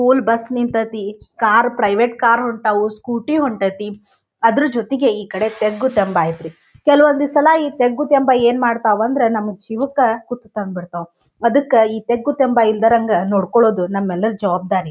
School bus ನಿಂತೈತಿ car private car ಹೊಂಟವು scooty ಹೊಂಟೈತಿ ಅದ್ರ್ ಜೊತಿಗೆ ಈ ಕಡೆ ತಗ್ಗು ತೆಂಬ ಅಯ್ತ್ರಿ ಕೆಲವೊಂದು ಸಲ ಈ ತೆಗ್ಗು ತೆಂಬ ಏನ್ ಮಾಡ್ತಾವ್ ಅಂಡ್ರೆ ನಮ ಜೀವಕ್ಕ ಕುತ್ತು ತಂದ್ ಬಿಡ್ತಾವ್ ಅದಕ್ಕ ನಾವು ಈ ತೆಗ್ಗು ತೆಂಬ ಇಲ್ಲದಂಗ ನೋಡ್ಕೋಳ್ಳೋದು ನಮ್ಮೆಲ್ಲರ ಜವಾಬ್ದಾರಿ.